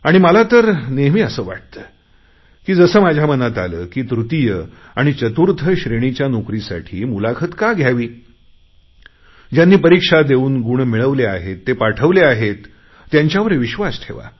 आणि मला तर नेहमी वाटते की जसे माझ्या मनात आले की तृतीय आणि चतुर्थ श्रेणीच्या नोकरीसाठी मुलाखत का घ्यावी ज्यांनी परीक्षा देऊन गुण मिळवले आहेत ते पाठवले आहेत त्यांच्यावर विश्वास ठेवा